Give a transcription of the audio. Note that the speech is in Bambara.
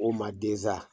O ma densa